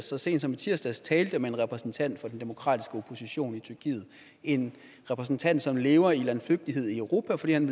så sent som i tirsdags talte med en repræsentant for den demokratiske opposition i tyrkiet en repræsentant som lever i landflygtighed i europa fordi han